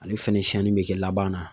Ale fɛnɛ siɲɛni be kɛ laban na.